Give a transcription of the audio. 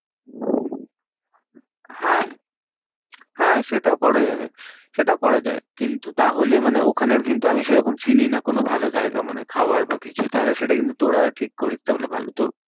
হ্যাঁ হ্যাঁ সেটাও করা যাবে। সেটাও করা যায় কিন্তু তাহলে মানে ওখানে কিন্তু আমি সেরকম চিনিনা কোনো ভালো জায়গা। মানে খাওয়ার বা কিছু তাহলে সেটা কিন্তু তোরা ঠিক করিস তাহলে ভালো। তো